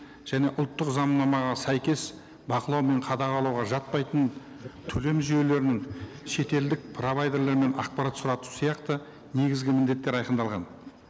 және ұлттық заңнамаға сәйкес бақылау мен қадағалауға жатпайтын төлем жүйелерінің шетелдік провайдерлерінен ақпарат сұрату сияқты негізгі міндеттері айқындалған